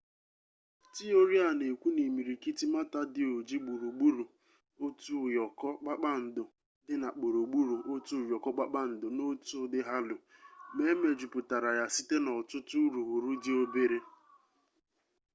tiori a na-ekwu na imirikiti mata dị oji gburugburu otu ụyọkọ kpakpando dị na gburugburu otu ụyọkọ kpakpando n'otu ụdị halo ma e mejupụtara ya site n'ọtụtụ urughuru dị obere